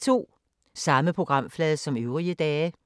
Samme programflade som øvrige dage